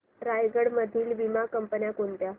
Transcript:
रायगड मधील वीमा कंपन्या कोणत्या